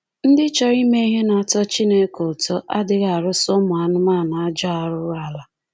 Ndị chọrọ ime ihe na-atọ Chineke ụtọ adịghị arụsa ụmụ anụmanụ ajọ arụrụala.